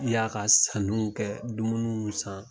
Y'a ka saniw kɛ dumuniw san.